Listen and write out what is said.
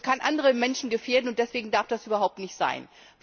Es kann andere Menschen gefährden, und deswegen darf das überhaupt nicht sein.